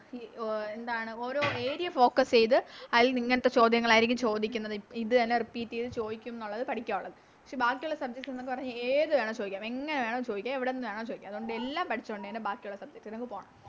ഈ എന്താണ് ഓരോ Area focus ചെയ്ത അയിലന്ന് ഇങ്ങത്തെ ചോദ്യങ്ങളായിരിക്കും ചോദിക്കുന്നത് ഇത് തന്നെ Repeat ചെയ്ത ചോയിക്കുന്നൊള്ളത് പഠിക്കാവൊള്ളത് പക്ഷെ ബാക്കിയൊള്ള Subject ന്ന് പറഞ്ഞ ഏത് വേണേ ചോദിക്കാം എങ്ങനെ വേണോ ചോദിക്കാം എവിടുന്ന് വേണോ ചോദിക്കാം അതുകൊണ്ട് എല്ലാം പഠിച്ചോണ്ട് തന്നെ ബാക്കിയുള്ള Subject ലേക്ക് പോണം